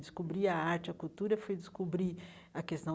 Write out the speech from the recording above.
Descobrir a arte, a cultura foi descobrir a questão